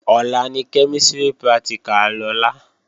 Ọ̀la ni kẹ́mísìrì pratìkà Lọlá